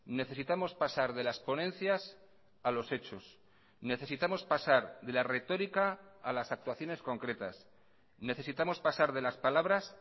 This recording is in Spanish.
necesitamos pasar de las ponencias a los hechos necesitamos pasar de la retórica a las actuaciones concretas necesitamos pasar de las palabras